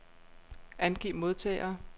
Angiv modtagere.